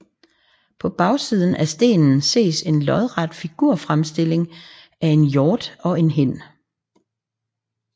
På bagsiden af stenen ses en lodret figurfremstilling af en hjort og en hind